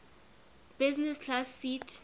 business class seat